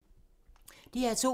DR2